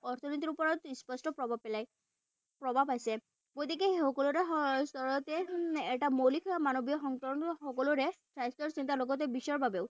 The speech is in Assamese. অৰ্থনীতিৰ ওপৰত স্পষ্ট প্ৰভাৱ পেলায়। প্ৰভাৱ আছে। গতিকে সেই সকলোৰে এটা মৌলিক মানৱীয় সকলোৰে স্বাস্থ্যৰ চিন্তা লগতে বিশ্বৰ বাবেও।